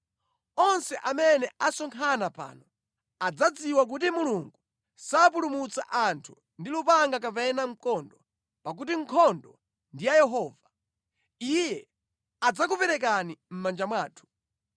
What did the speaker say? Onse amene asonkhana pano adzadziwa kuti Mulungu sapulumutsa anthu ndi lupanga kapena mkondo, pakuti nkhondo ndi ya Yehova. Iye adzakuperekani mʼmanja mwathu.”